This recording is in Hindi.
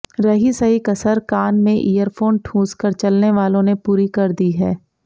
रही सही कसर कान में ईयरफोन ठूंसकर चलने वालों ने पूरी कर दी है